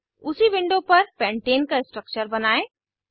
आगे उसी विंडो पर पेंटाने का स्ट्रक्चर बनायें